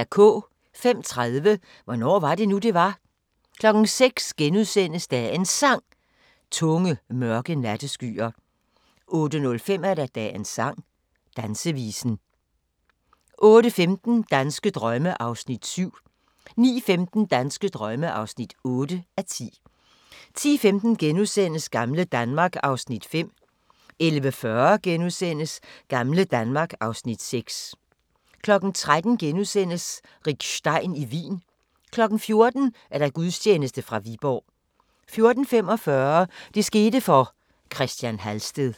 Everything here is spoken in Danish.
05:30: Hvornår var det nu, det var? 06:00: Dagens Sang: Tunge, mørke natteskyer * 08:05: Dagens sang: Dansevisen 08:15: Danske drømme (7:10) 09:15: Danske drømme (8:10) 10:15: Gamle Danmark (Afs. 5)* 11:40: Gamle Danmark (Afs. 6)* 13:00: Rick Stein i Wien * 14:00: Gudstjeneste fra Viborg 14:45: Det skete for – Christian Halsted